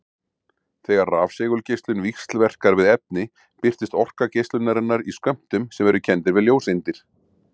Þegar rafsegulgeislun víxlverkar við efni birtist orka geislunarinnar í skömmtum sem eru kenndir við ljóseindir.